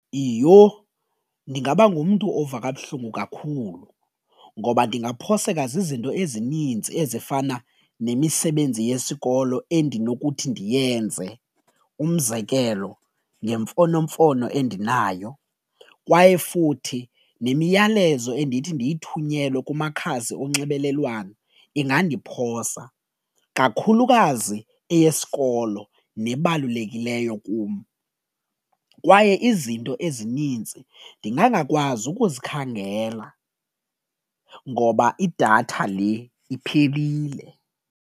Iyho, ndingaba ngumntu ova kabuhlungu kakhulu ngoba ndingaphoseka zizinto ezininzi ezifana nemisebenzi yesikolo endinokuthi ndiyenze umzekelo ngemfonomfono endinayo kwaye futhi nemiyalezo endithi ndiyithunyelwe kumakhasi onxibelelwano ingandiphosa kakhulukazi eyesikolo nebalulekileyo kum, kwaye izinto ezinintsi ndingangakwazi ukuzikhangela ngoba idatha le iphelile.